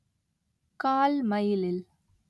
கால் மைலில்